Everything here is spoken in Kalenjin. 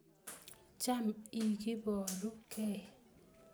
Cham ikiboru kei